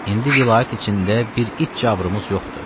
İndi vilayət içində bir it cabrımız yoxdur.